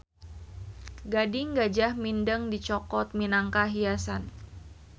Gading gajah mindeng dicokot minangka hiasan